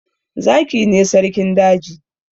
Zaki ne sarkin daji